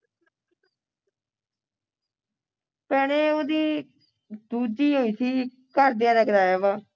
ਭੈਣੇ ਉਹਦੀ ਦੂਜੀ ਹੋਈ ਸੀ ਘਰ ਦਿਆਂ ਨੇ ਕਰਵਾਇਆ ਵਾਰ